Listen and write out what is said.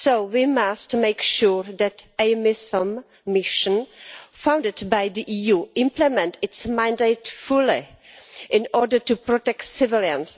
We must make sure that a mission funded by the EU implements its mandate fully in order to protect civilians.